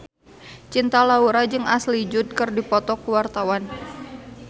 Cinta Laura jeung Ashley Judd keur dipoto ku wartawan